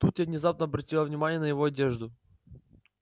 тут я внезапно обратила внимание на его одежду